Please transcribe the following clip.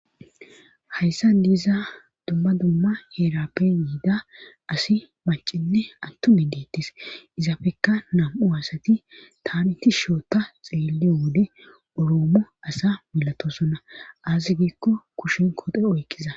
Hayssa diiza dumma dumma heerappe yiida asi macinne attumi deettis izafekka nam7u aasati taaniti shoota xeelliyo wode uroomo asa milatosonna azi giikko kushen kote oykkiza.